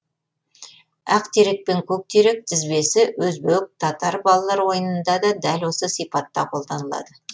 ақ терек пен көк терек тіркесі өзбек татар балалар ойынында да дәл осы сипатта қолданылады